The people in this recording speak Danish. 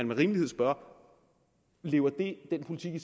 med rimelighed spørge lever den politik i